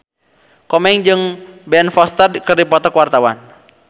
Komeng jeung Ben Foster keur dipoto ku wartawan